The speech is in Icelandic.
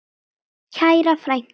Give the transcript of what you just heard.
Kæra frænka.